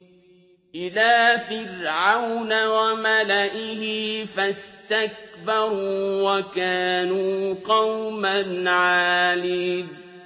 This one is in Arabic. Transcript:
إِلَىٰ فِرْعَوْنَ وَمَلَئِهِ فَاسْتَكْبَرُوا وَكَانُوا قَوْمًا عَالِينَ